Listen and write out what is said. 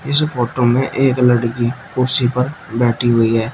इस फोटो में एक लड़की कुर्सी पर बैठी हुई है।